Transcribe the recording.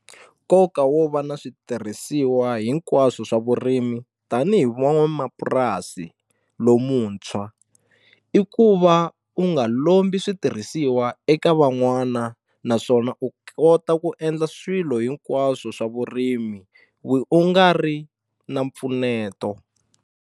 Nkoka wo va na switirhisiwa hinkwaswo swa vurimi tanihi van'wanamapurasi lomuntshwa i ku va u nga lombi switirhisiwa eka van'wana naswona u kota ku endla swilo hinkwaswo swa vurimi u nga ri na mpfuneto.